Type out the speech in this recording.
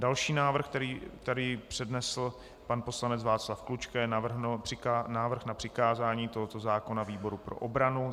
Další návrh, který přednesl pan poslanec Václav Klučka, je návrh na přikázání tohoto zákona výboru pro obranu.